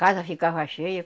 Casa ficava cheia.